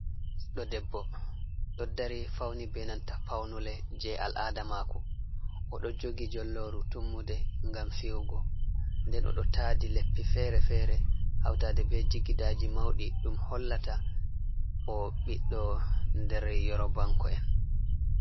Ɗo debbo ɗo dari fauni be nanta paunule je al'ada mako, oɗo jogi jolloru, tummude, ngam fi’ugo nden o ɗo taadi leppi fere-fere hautaɗe be jigidaji maudi ɗum hollata o biɗdo nder yerobanko'en.